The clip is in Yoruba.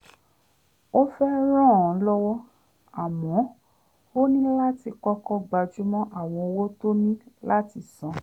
ó fẹ́ ràn án lọ́wọ́ àmọ́ ó ní láti kọ́kọ́ gbájúmọ́ àwọn owó tó ní láti san